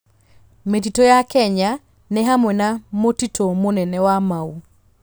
Mĩtitũ ya Kenya nĩ hamwe na mũtitũ mũnene wa Mau.